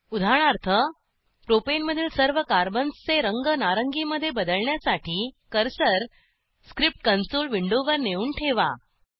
उदाहरणार्थ प्रोपेनमधील सर्व कार्बन्सचे रंग नारंगीमध्ये बदलण्यासाठी कर्सर स्क्रिप्ट कंसोल विंडोवर नेऊन ठेवा